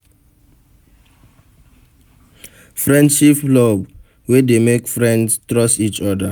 Friendship love de wey de make friends trust each other